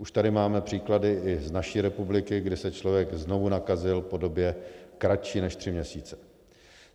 Už tady máme příklady i z naší republiky, kdy se člověk znovu nakazil po době kratší než tři měsíce.